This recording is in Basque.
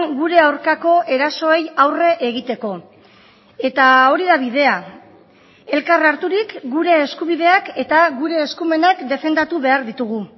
gure aurkako erasoei aurre egiteko eta hori da bidea elkar harturik gure eskubideak eta gure eskumenak defendatu behar ditugu